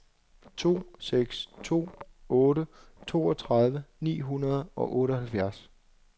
to seks to otte toogtredive ni hundrede og otteoghalvfjerds